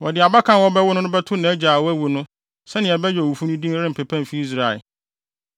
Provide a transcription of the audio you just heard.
Wɔde abakan a wɔbɛwo no no bɛto nʼagya a wawu no sɛnea ɛbɛyɛ a owufo no din rempepa mfi Israel.